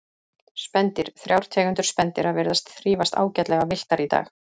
Spendýr Þrjár tegundir spendýra virðast þrífast ágætlega villtar í dag.